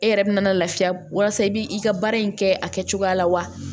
E yɛrɛ bɛna lafiya walasa i bi ka baara in kɛ a kɛcogoya la wa